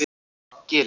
Gili